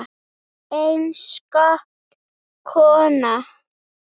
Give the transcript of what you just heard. Einstök kona.